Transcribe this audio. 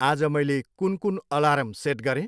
आज मैले कुन कुन अलार्म सेट गरेँ?